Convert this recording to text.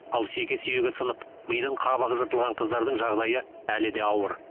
ал шеке сүйегі сынып мидың қабығы жыртылған қыздардың жағдайы әлі де ауыр